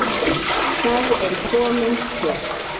Þá er komin töf.